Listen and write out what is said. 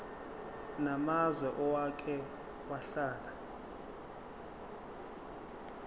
namazwe owake wahlala